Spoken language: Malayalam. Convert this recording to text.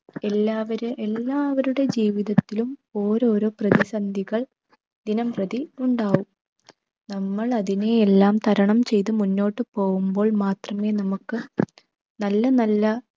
എല്ലാവരെ എല്ലാവരുടെ ജീവിതത്തിലും ഓരോരോ പ്രതിസന്ധികൾ ദിനം പ്രതി ഉണ്ടാകും. നമ്മൾ അതിനെയെല്ലാം തരണം ചെയ്തു മുന്നോട്ടു പോവുമ്പോൾ മാത്രമേ നമുക്ക് നല്ല നല്ല